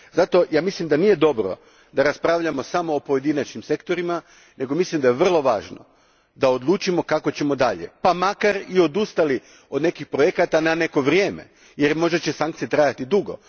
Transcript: Zato, mislim da nije dobro da raspravljamo samo o pojedinačnim sektorima nego mislim da je vrlo važno da odlučimo kako ćemo dalje pa makar i odustali od nekih projekata na neko vrijeme, jer možda će sankcije trajati dugo.